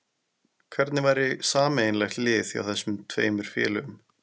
Hvernig væri sameiginlegt lið hjá þessum tveimur félögum?